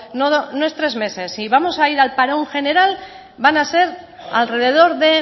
no es tres meses si vamos a ir al parón general van a ser alrededor de